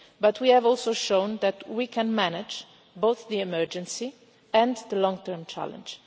But we have also shown that we can manage both the emergency and the long term challenge.